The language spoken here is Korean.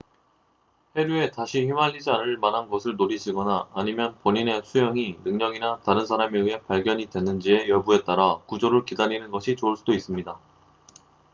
해류에 다시 휘말리지 않을 만한 곳을 노리시거나 아니면 본인의 수영이 능력이나 다른 사람에 의해 발견이 됐는지의 여부에 따라 구조를 기다리는 것이 좋을 수도 있습니다